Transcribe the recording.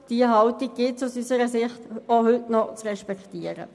Diese Haltung gilt es aus unserer Sicht auch heute noch zu respektieren.